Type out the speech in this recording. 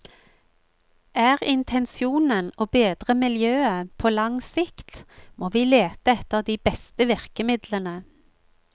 Er intensjonen å bedre miljøet på lang sikt, må vi lete etter de beste virkemidlene.